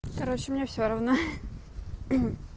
короче мне все равно